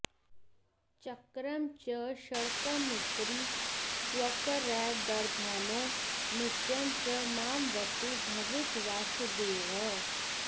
चक्रं च शङ्खमुपरि स्वकरैर्दधानो नित्यं स मामवतु भावितवासुदेवः